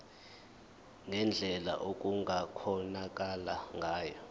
ngendlela okungakhonakala ngayo